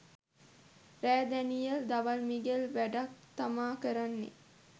රෑ දනියෙල් දවල් මිගෙල් වැඩක් තමා කරන්නේ